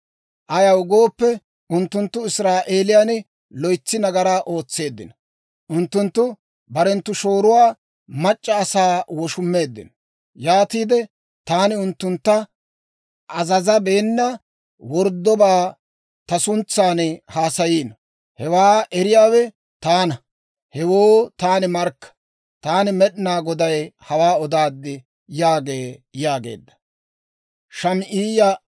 Ayaw gooppe, unttunttu Israa'eeliyaan loytsi nagaraa ootseeddino. Unttunttu barenttu shoorotuwaa mac'c'a asaa woshumeeddino; yaatiide taani unttuntta azazabeena worddobaa ta suntsan haasayiino. Hewaa eriyaawe taana; hewoo taani markka. Taani Med'inaa Goday hawaa odaad› yaagee» yaageedda.